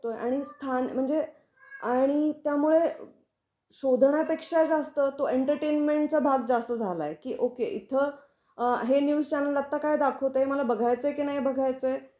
आणि स्थान म्हणजे आणि त्यामुळे शोधन्यापेक्षा जास्त तो एंटरटेनमेंटचा भाग जास्त झाला की ओके इथं अ हे न्यूज चॅनेल आता काय दाखवते हे, मला बघायच आहे की नाही बघायच आहे.